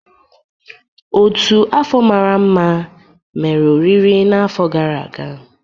Ọ́tù afọ mara mma mere oriri n'afọ gara aga.